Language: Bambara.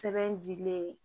Sɛbɛn dilen